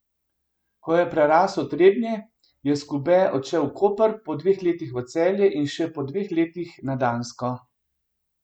Ko je prerasel Trebnje, je Skube odšel v Koper, po dveh letih v Celje in še po dveh letih na Dansko.